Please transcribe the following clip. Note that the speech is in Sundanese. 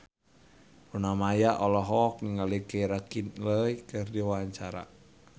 Luna Maya olohok ningali Keira Knightley keur diwawancara